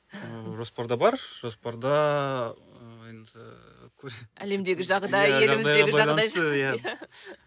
ыыы жоспарда бар жоспарда ы енді